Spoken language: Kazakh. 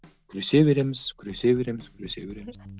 күресе береміз күресе береміз күресе береміз